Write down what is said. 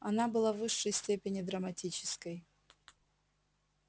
она была в высшей степени драматической